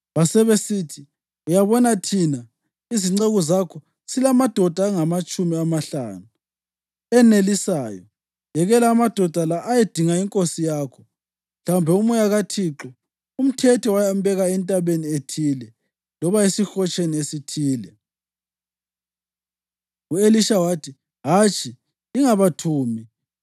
Basebesithi, “Uyabona, thina izinceku zakho silamadoda angamatshumi amahlanu enelisayo. Yekela amadoda la ayedinga inkosi yakho. Mhlawumbe uMoya kaThixo umthethe wayambeka entabeni ethile loba esihotsheni esithile.” U-Elisha wathi, “Hatshi, lingabathumi.”